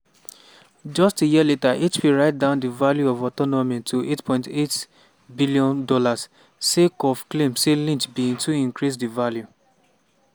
just a year later hp write down di value of autonomy to $8.8bn sake of claim say lynch bin too increase di value.